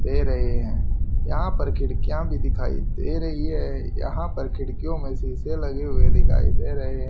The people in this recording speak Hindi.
दे रहे है यहां पर खिड़कियां भी दिखाई दे रही है यहां पर खिड़कियों में शीशे लगे हुए दिखाई दे रहे--